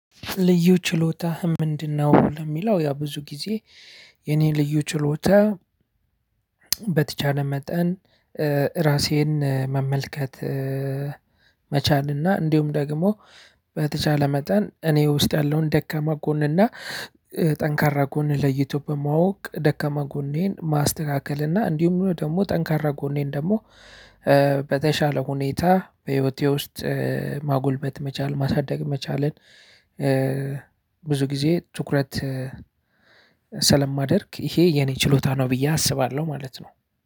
ልዩ ችሎታህ ምንድነው? ለሚለው ያው ብዙ ጊዜ የኔ ልዩ ችሎታ በተቻለ መጠን ራሴን መመልከት መቻል እና እንዲሁም ደግሞ በተቻለ መጠን እኔ ውስጥ ያለውን ደካማ ጎን እና ጠንካራ ጎን ለይቶ በማወቅ ደካማ ጎኔን ማስተካከል እና እንዲሁም ደግሞ ጠንካራ ጎኔን ደግሞ በተሻለ ሁኔታ በህይወቴ ውስጥ ማጎልበት መቻል ማሳደግ መቻልን። ብዙ ጊዜ ትኩረት ስለማደርግ ይሄ የኔ ችሎታ ነው ብዬ አስባለሁ ማለት ነው።